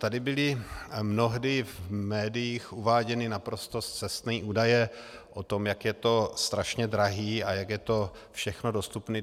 Tady byly mnohdy v médiích uváděny naprosto scestné údaje o tom, jak je to strašně drahé a jak je to všechno dostupné.